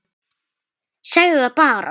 Segðu það bara!